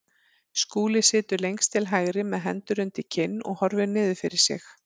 Skúli situr lengst til hægri með hendur undir kinn og horfir niður fyrir sig.